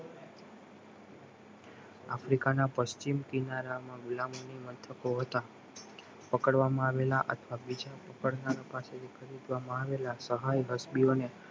આફ્રિકાના પશ્ચિમ કિનારા માં ગુલામ મથકો હતા પકડવામાં આવેલા અથવા બીજા પકડનાર પાસેથી ખરીદવામાં આવેલાસહાય હસ્બી ઓ